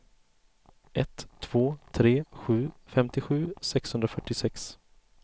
ett två tre sju femtiosju sexhundrafyrtiosex